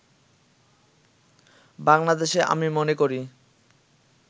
বাংলাদেশে আমি মনে করি